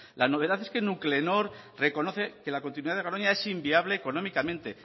la novedad es que nuclenor reconoce que la continuidad de garoña es inviable económicamente